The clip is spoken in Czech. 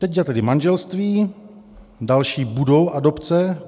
Teď je tedy manželství, další budou adopce.